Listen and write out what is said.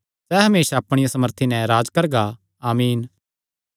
सैह़ हमेसा अपणिया सामर्थी नैं राज्ज करगा आमीन